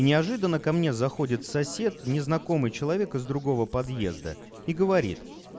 неожиданно ко мне заходит сосед незнакомый человек из другого подъезда и говорит